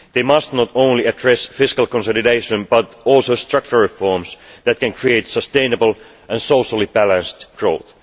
They must not only address fiscal consolidation, but also structural reforms that can create sustainable and socially balanced growth.